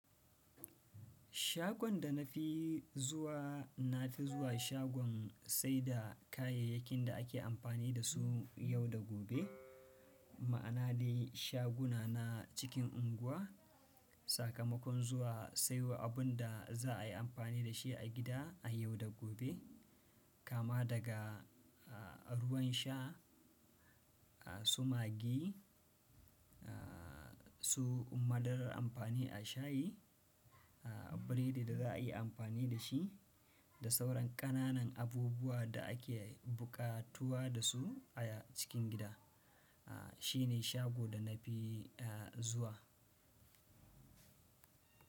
Shagon da na fi zuwa, na fi zuwa shagon saida kayayyakin da ake amfani da su yau da gobe, ma'ana dai shaguna na cikin unguwa. Sakamakon zuwa saiyo abunda za a yi amfani da shi a gida a yau da gobe. Kama daga, a, ruwan sha, a, suma gi, a, su madarar amfani a shayi, a, biredi da za a yi amfani da shi, da sauran ƙananan abubuwa da ake buƙatuwa da su a cikin gida, a, shine shago da na fi, a, zuwa.